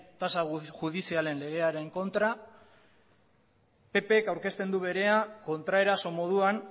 tasa judizialen legearen kontra ppk aurkezten du berea kontraeraso moduan